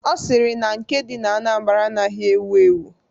Ọ sịrị na nke dị na Anambra anaghị ewu ewu..